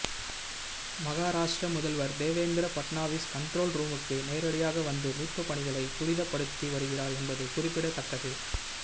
மகாராஷ்டிர முதல்வர் தேவேந்திர பட்னாவிஸ் கண்ட்ரோல் ரூமுக்கு நேரடியாக வந்து மீட்புப்பணிகளை துரிதப்படுத்தி வருகிறார் என்பது குறிப்பிடத்தக்கது